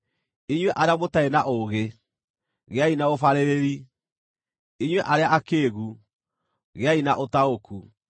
Inyuĩ arĩa mũtarĩ na ũũgĩ, gĩai na ũbaarĩrĩri, inyuĩ arĩa akĩĩgu, gĩai na ũtaũku.